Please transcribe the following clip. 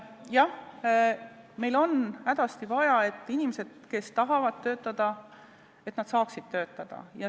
Jah, meil on hädasti vaja, et inimesed, kes tahavad töötada, saaksid töötada.